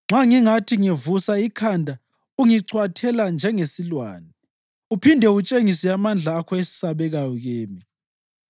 Nxa ngingathi ngivusa ikhanda ungicwathela njengesilwane uphinde utshengise amandla akho esabekayo kimi.